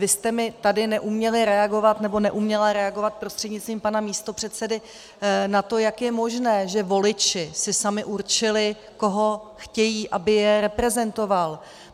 Vy jste mi tady neuměli reagovat, nebo neuměla reagovat prostřednictvím pana místopředsedy na to, jak je možné, že voliči si sami určili, koho chtějí, aby je reprezentoval.